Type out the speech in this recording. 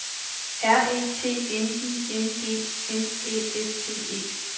R E T N I N G N Æ S T E